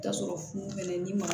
Ka sɔrɔ funufunɛ ni ma